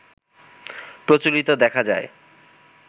প্রচলিত দেখা যায়